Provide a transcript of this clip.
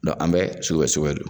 an bɛ sugubɛ sugubɛ don